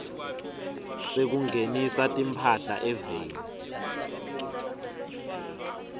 sekungenisa timphahla eveni